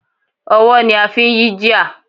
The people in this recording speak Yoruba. Ọwọ́ ni a fi ń yí gear.